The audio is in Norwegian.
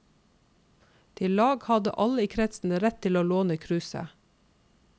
Til lag hadde alle i kretsen rett til å låne kruset.